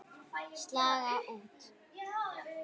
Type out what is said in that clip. Slaga út.